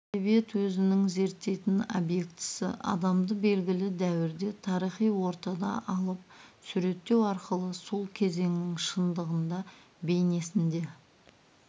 әдебиет өзінің зерттейтін объектісі адамды белгілі дәуірде тарихи ортада алып суреттеу арқылы сол кезеңнің шындығын да бейнесін де